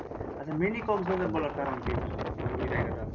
আচ্ছা mini কক্স বাজার বলার কারণ কি ওখানে ওই ওই জায়গাটা?